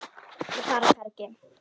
Og fara hvergi.